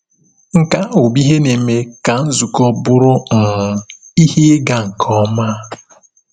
Nke ahụ bụ ihe na-eme ka nzukọ bụrụ um ihe ịga nke ọma.